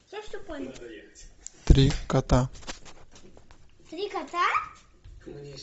три кота